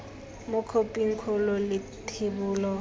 mo khophing kgolo le thebolo